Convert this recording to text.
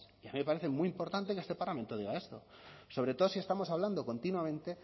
y a mí me parece muy importante que este parlamento diga esto sobre todo si estamos hablando continuamente